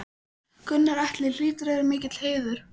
Gunnar Atli: Hlýtur að vera mikill heiður?